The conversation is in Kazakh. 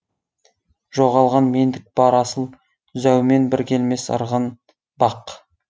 жоғалған мендік бар асыл зәумен бір келмес ырғын бақ